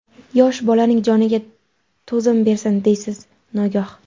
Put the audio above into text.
Yosh bolalarning joniga to‘zim bersin, deysiz nogoh.